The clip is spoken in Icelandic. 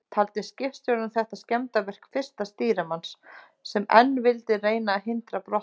Taldi skipstjórinn þetta skemmdarverk fyrsta stýrimanns, sem enn vildi reyna að hindra brottför.